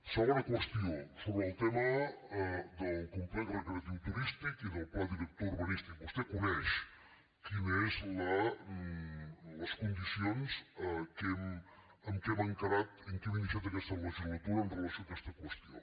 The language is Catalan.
segona qüestió sobre el tema del complex recreatiu turístic i del pla director urbanístic vostè coneix quines són les condicions amb què hem encarat amb què hem iniciat aquesta legislatura amb relació a aquesta qüestió